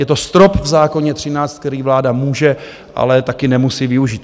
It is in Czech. Je to strop v zákoně 13, který vláda může, ale také nemusí využít.